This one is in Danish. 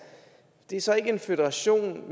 det er så ikke en føderation